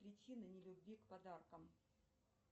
причина не любви к подаркам